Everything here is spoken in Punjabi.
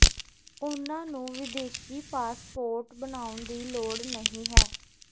ਉਨ੍ਹਾਂ ਨੂੰ ਵਿਦੇਸ਼ੀ ਪਾਸਪੋਰਟ ਬਣਾਉਣ ਦੀ ਲੋੜ ਨਹੀਂ ਹੈ